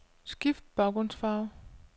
Skift baggrundsfarve.